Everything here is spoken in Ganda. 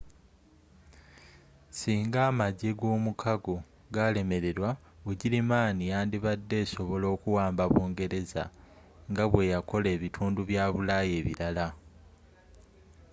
singa amagye g'omukago galemererwa bugirimani yandibadde esobola okuwamba bungereza nga bweyakola ebitundu bya bulaya ebirala